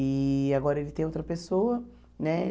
E agora ele tem outra pessoa, né?